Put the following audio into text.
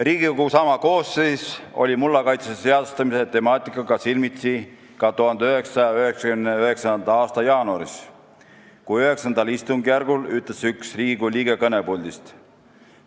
" Riigikogu sama koosseis oli mulla kaitse seadustamise temaatikaga silmitsi ka 1999. aasta jaanuaris, kui üks Riigikogu liige IX istungjärgul ütles kõnepuldist nii: "...